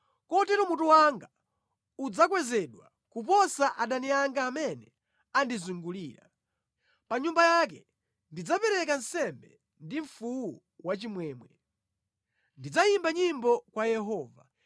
Kotero mutu wanga udzakwezedwa kuposa adani anga amene andizungulira; pa Nyumba yake ndidzapereka nsembe ndi mfuwu wachimwemwe; ndidzayimba nyimbo kwa Yehova.